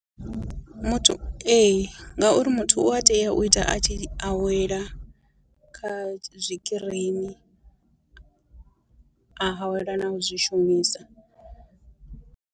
Muthu, ee ngauri muthu u a tea u ita a tshi awela kha zwikirini, a awela na u zwi shumisa.